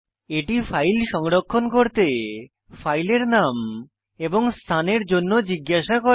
এটি ফাইল সংরক্ষণ করতে ফাইলের নাম এবং স্থান এর জন্য জিজ্ঞাসা করে